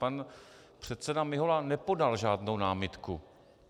Pan předseda Mihola nepodal žádnou námitku.